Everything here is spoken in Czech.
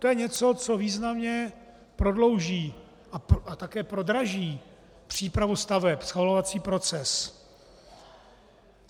To je něco, co významně prodlouží a také prodraží přípravu staveb, schvalovací proces.